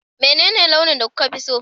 menene launi kuka fi so?